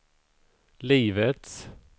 livets